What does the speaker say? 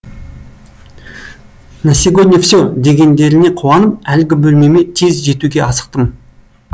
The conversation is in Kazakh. на сегодня все дегендеріне қуанып әлгі бөлмеме тез жетуге асықтым